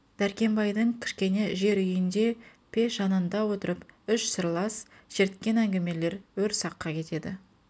дәркембайдың кішкене жер үйіңде пеш жанында отырып үш сырлас шерткен әңгімелер өр саққа кетеді